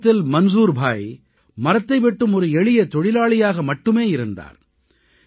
தொடக்கத்தில் மன்சூல் பாய் மரத்தை வெட்டும் ஒரு எளிய தொழிலாளியாக மட்டுமே இருந்தார்